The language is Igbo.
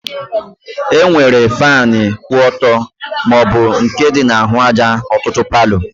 E nwere fanu kwụ ọtọ maọbụ nke dị na-ahụ àjà n'ọtụtụ palo